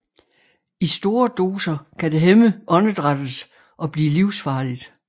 I store doser kan det hæmme åndedrættet og blive livsfarligt